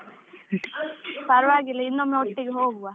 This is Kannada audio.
ಪರ್ವಾಗಿಲ್ಲ ಇನ್ನೊಮ್ಮೆ ಒಟ್ಟಿಗೆ ಹೋಗುವ.